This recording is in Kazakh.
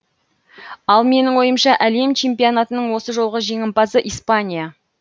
ал менің ойымша әлем чемпионатының осы жолғы жеңімпазы испания